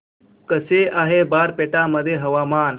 कसे आहे बारपेटा मध्ये हवामान